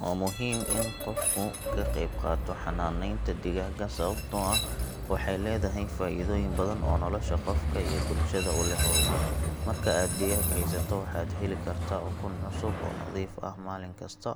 Waa muhiim in qofku ka qayb qaato xanaaneynta digaagga sababtoo ah waxay leedahay faa’iidooyin badan oo nolosha qofka iyo bulshada u leh horumar. Marka aad digaag haysato waxaad heli kartaa ukun cusub oo nadiif ah maalin kasta